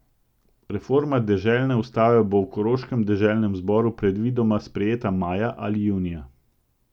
Reforma deželne ustave bo v koroškem deželnem zboru predvidoma sprejeta maja ali junija.